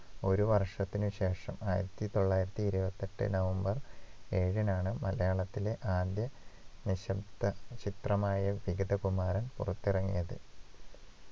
ഒരു വർഷത്തിനു ശേഷം ആയിരത്തിതൊള്ളായിരത്തിഇരുപത്തിയെട്ടു നവംബർ ഏഴിനാണ് മലയാളത്തിലെ ആദ്യ നിശബ്ദ ചിത്രമായ വിഗതകുമാരൻ പുറത്തിറങ്ങിയത്